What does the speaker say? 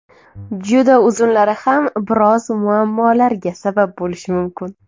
Juda uzunlari ham biroz muammolarga sabab bo‘lishi mumkin.